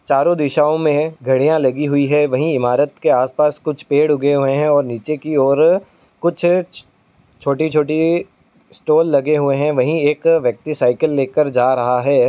चारों दिशाओं में घड़ियां लगी हुई है। वहीं इमारत के आस पास कुछ पेड़ उगे है और नीचे की और कुछ छोटी-छोटी स्टाल लगे हुए हैं। वहीं एक व्यक्ति साइकिल लेकर जा रहा है।